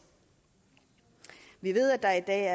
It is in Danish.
vi ved at der i dag